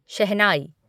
शहनााई